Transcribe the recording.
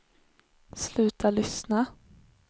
sluta lyssna